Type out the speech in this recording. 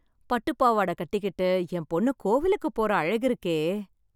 பட்டு பாவாட கட்டிக்கிட்டு என் பொண்ணு கோவிலுக்கு போற அழகு இருக்கே.